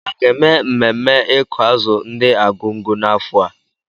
A ga-eme mmemme ịkụ azụ ndi Argungu n'afọ a?